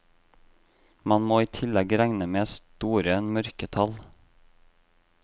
Man må i tillegg regne med store mørketall.